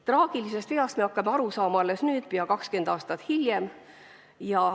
Traagilisest veast hakkame aru saama alles nüüd, peaaegu 20 aastat hiljem.